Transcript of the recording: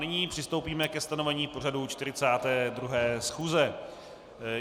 Nyní přistoupíme ke stanovení pořadu 42. schůze.